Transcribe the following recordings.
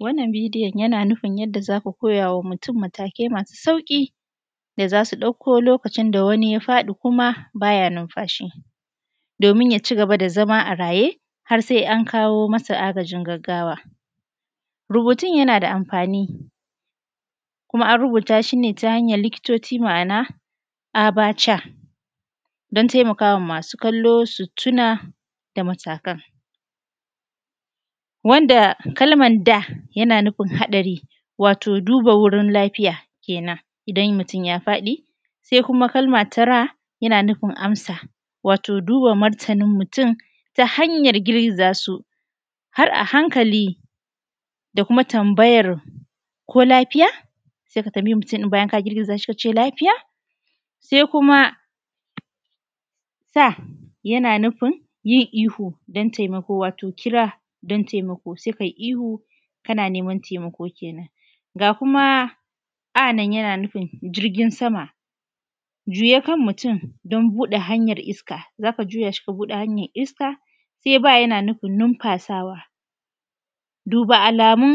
A wannan bidiyon yana nufin yadda za ku koya wa mutum matakai masu sauƙi da za su ɗauko lokacin da wani ya faɗi kuma baya nunfashi. Domin ya cigaba da zama a raye, har sai an kawo masa agajin gaggawa. Rubutun yana da amfani, kuma an rubuta shi ne ta hanyan likitoci. Ma’ana abc don taimaka ma masu kallo su tuna da matakan wanda kalman d yana nufin haɗari, wato duba wurin lafiya kenan idan mutum ya faɗi, sai kuma kalma ta r yana nufin amsa wato duba martanin mutum ta hanyar girgiza su har a hankali da kuma tambayar ko lafiya, sai ka tambayi mutum bayan ka girgiza shi ka ce lafiya? Sai kuma s yana nufin yin ihu don taimakon, wato kira don taimako, sai kai ihu kana neman taimako kenan, ga kuma a nan yana nufin jirgin sama juya kan mutum don buɗe hanyar iska. Za ka juya shi ka buɗe hanyar iska, sai b yana nufin numfasawa. Duba alamun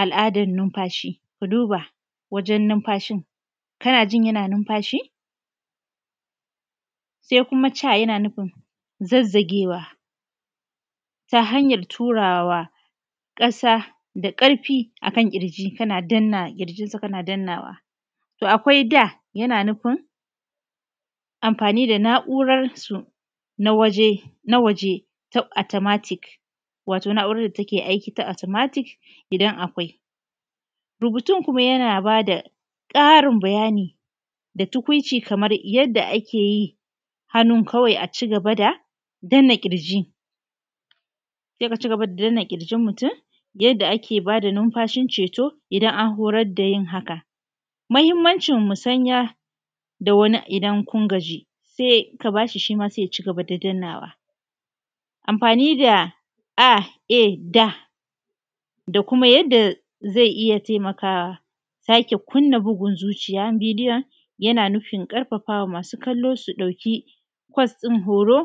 al’adan numfashi, ku duba wajen numfashin kana jin yana numfashi, sai kuma c yana nufin zazzagewa ta hanyar turawa. Ka sa da ƙarfi a kan ƙirji kana danna ƙirjinsa kana dannawa. To akwai d yana nufin amfani da na’urar su na waje top automatic wato na’urar da take aiki ta automatic idan akwai. Rubutun kuma yana bada ƙarin bayani da tukuici kamar yadda ake yi hannu kawai a cigaba da danna ƙirji sai ka cigaba da danna ƙirjin mutum yadda ake ba da numfashin ceto, idan an horar da yin haka. Muhimmancin musanya da wani idan kun gaji sai ka ba shi shi ma sai ya cigaba da dannawa. Amfani da aed da kuma yadda zai iya taimakawa sake kunna bugun zuciya medium yana nufin ƙarfafa wa masu kallo su ɗauki course ɗin horo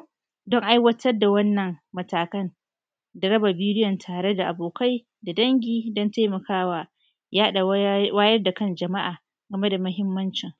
don aiwatar da wannan matakan da raba bidiyon tare da abokai, da dangi don taimakawa yaɗa wayar da kan jama’a game da muhimmancin.